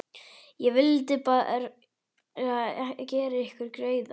Ég vildi bara gera ykkur greiða.